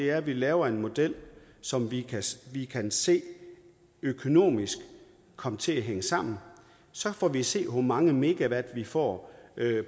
er at vi laver en model som vi vi kan se økonomisk kommer til at hænge sammen og så får vi at se hvor mange megawatt vi får